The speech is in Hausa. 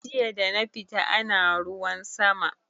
Jiya dana fita ana ruwan sama